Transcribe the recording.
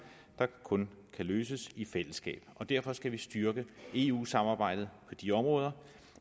der kun kan løses i fællesskab og derfor skal vi styrke eu samarbejdet på de områder